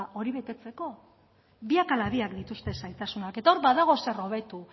hori betetzeko biak ala biak dituzte zailtasunak eta hor badago zer hobeto